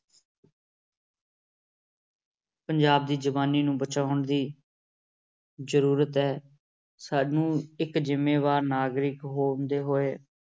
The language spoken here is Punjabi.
ਪੰਜਾਬ ਦੀ ਜਵਾਨੀ ਨੂੰ ਬਚਾਉਣ ਦੀ ਜ਼ਰੂਰਤ ਹੈ, ਸਾਨੂੰ ਇੱਕ ਜ਼ਿੰਮੇਵਾਰ ਨਾਗਰਿਕ ਹੁੰਦੇ ਹੋਏ